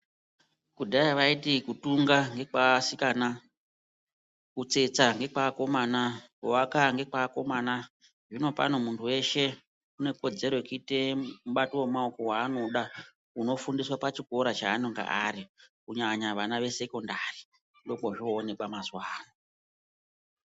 Kudhaya vaiti kutunga kekweasikana kutsetsa ngekweakomana kuaka ngekweakomana hino pano muntu weshe unekodzero tekuita mubati wemaoko wanoda unofundiswa pachikora paanenge ari kunyanya ana esekondari ndiko kwozvooneka mazuwa anayi.